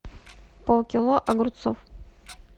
пол кило огурцов